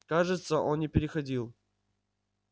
кажется он не переходил